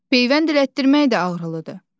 Beyvənd elətdirmək də ağrılıdır.